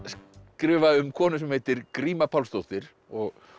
skrifa um konu sem heitir gríma Pálsdóttir og